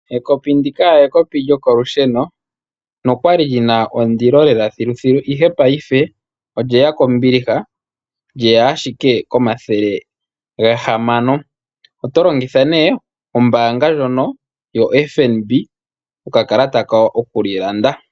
Ekopi ndika ekopi lyokolusheno nokwali li na ondilo lela thiluthilu, ihe paife olye ya kombiliha, lye ya ashike komathele gahamano. Oto longitha nee ombaanga ndjono yoFNB okalata kayo oku li landa.